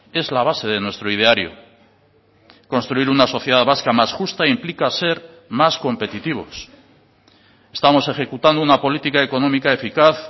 es la base de nuestro ideario construir una sociedad vasca más justa implica ser más competitivos estamos ejecutando una política económica eficaz